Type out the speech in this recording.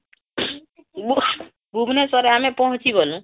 ଭୁବନେଶ୍ୱର ରେ ଆମେ ପହଂଚି ଗ୍ନୁ